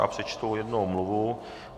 Já přečtu jednu omluvu.